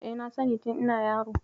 E, na sani tin ina yaro.